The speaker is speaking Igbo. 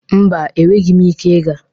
Mba, enweghi m ike gaa.